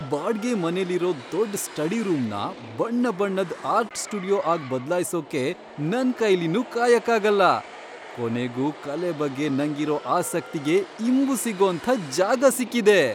ಬಾಡ್ಗೆ ಮನೆಲಿರೋ ದೊಡ್ಡ್ ಸ್ಟಡಿ ರೂಮ್ನ ಬಣ್ಣಬಣ್ಣದ್ ಆರ್ಟ್ ಸ್ಟುಡಿಯೋ ಆಗ್ ಬದ್ಲಾಯ್ಸೋಕೆ ನನ್ಕೈಲಿನ್ನು ಕಾಯಕ್ಕಾಗಲ್ಲ. ಕೊನೆಗೂ ಕಲೆ ಬಗ್ಗೆ ನಂಗಿರೋ ಆಸಕ್ತಿಗೆ ಇಂಬು ಸಿಗೋಂಥ ಜಾಗ ಸಿಕ್ಕಿದೆ.